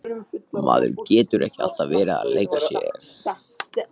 Maður getur ekki alltaf verið að leika sér.